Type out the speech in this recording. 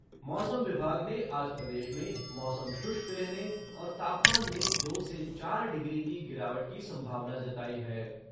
मौसम विभाग ने आज प्रदेश में मौसम शुष्क रहने और तापमान में दो से चार डिग्री की गिरावट की संभावना जताई है।